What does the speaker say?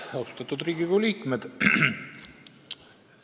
Austatud Riigikogu liikmed!